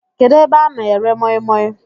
Kedụ ebe a na-ere moimoi?